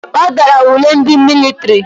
Ọ dara ule ndị mịlịtrị.